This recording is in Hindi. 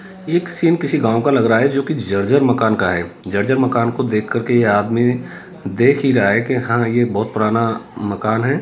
एक सीन किसी गांव का लग रहा है जो की जर्जर मकान का है जर्जर मकान को देखकर के ये आदमी देख ही रहा है कि हां ये बहुत पुराना मकान है।